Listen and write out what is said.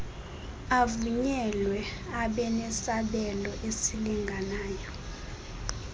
avunyelwe abenesabelo esilinganayo